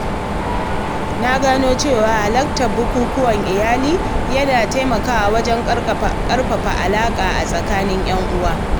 Na gano cewa halartar bukukuwan iyali yana taimakawa wajen ƙarfafa alaƙa a tsakanin ‘yan uwa.